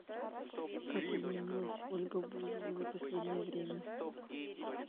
как изменилась ольга бузова за последнее время